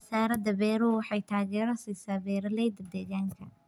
Wasaaradda beeruhu waxay taageero siisaa beeralayda deegaanka.